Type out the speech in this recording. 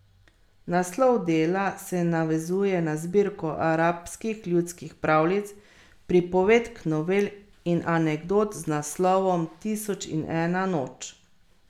Naslov dela se navezuje na zbirko arabskih ljudskih pravljic, pripovedk, novel in anekdot z naslovom Tisoč in ena noč.